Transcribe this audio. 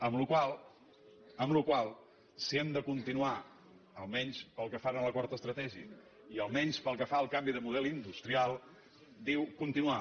amb la qual cosa si hem de continuar almenys pel que fa a l’acord estratègic i almenys pels que fa al canvi de model industrial diu continuar